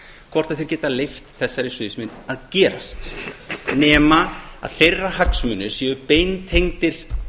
hvort þeir geta leyft þessari sviðsmynd að gera nema að þeirra hagsmunir séu beintengdir